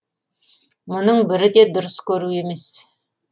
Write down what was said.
мұның бірі де дұрыс көру емес